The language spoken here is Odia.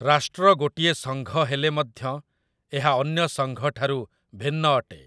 ରାଷ୍ଟ୍ର ଗୋଟିଏ ସଂଘ ହେଲେ ମଧ୍ୟ ଏହା ଅନ୍ୟ ସଂଘଠାରୁ ଭିନ୍ନ ଅଟେ ।